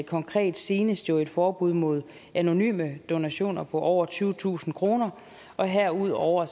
konkret senest om et forbud mod anonyme donationer på over tyvetusind kroner og herudover